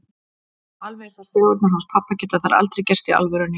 Alveg eins og sögurnar hans pabba geta þær aldrei gerst í alvörunni.